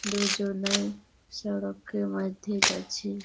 দুজনাই সড়কের মাধ্যে যাচছে ।